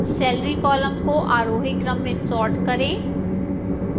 salary column को आरोही क्रम में sort करें